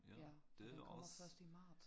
Ja men den kommer først i marts